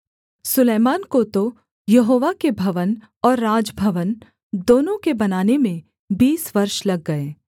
सुलैमान को तो यहोवा के भवन और राजभवन दोनों के बनाने में बीस वर्ष लग गए